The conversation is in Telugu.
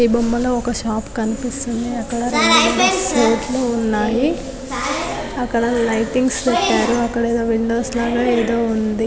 ఈ బొమ్మలో ఒక షాప్ కనిపిస్తుంది అక్కడ రెండు మూడు ఉన్నాయి అక్కడ లైటింగ్స్ పెట్టారు అక్కడ విండోస్ లాగా ఏదో ఉంది .